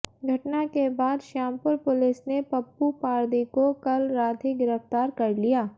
घटना के बाद श्यामपुर पुलिस ने पप्पू पारदी को कल रात ही गिरफ्तार कर लिया